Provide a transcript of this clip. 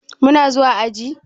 Muna zuwa aji?